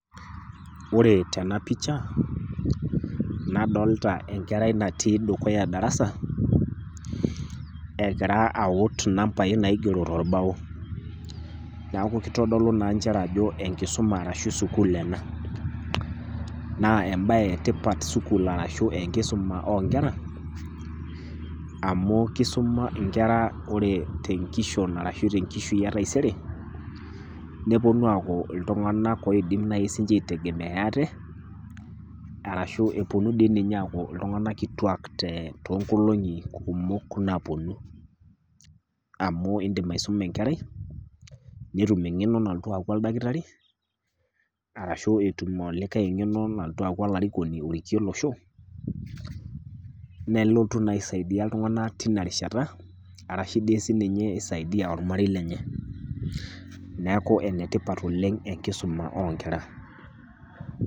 Ore tena picha nadolta enkerai natii dukuya e darasa egira awut inambai naigero tolbao. Neaku keitodolu naa nchere ajo enkisuma arashu sukul ena. Naa embaye etipat sukul arashu enkisuma oonkera amu keisuma inkera ore tenkishon arashu te nkishui e taisere nepuonu aaku iltung'anak oidim naji siinche aitegemea ate arashu dii ninye epuonu aaku iltung'anak kituak [tee] toonkolong'i kumok napuonu amu indim aisuma enkerai netum eng'eno nalotu aaku oldakitari arashu etum olikai eng'eno nalotu aaku olarikoni orikie olosho nelotu naa aisaidia iltung'ana tina rishata arashu dii sininye eisaidia olmarei lenye. Neaku enetipat oleng' enkisuma oonkera.